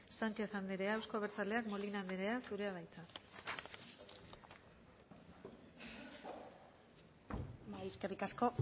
sánchez anderea euzko abertzaleak molina anderea zurea da hitza bai eskerrik asko